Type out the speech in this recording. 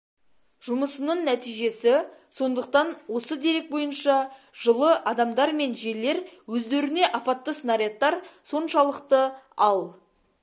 жұмысының нәтижесі сондықтан осы дерек бойынша жылы адамдар мен жерлер өздеріне апатты снарядтар соншалықты ал